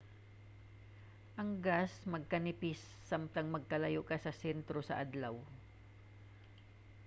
ang gas magkanipis samtang magkalayo ka sa sentro sa adlaw